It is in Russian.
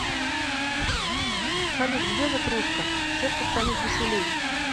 салют где же кружка сердцу станет веселей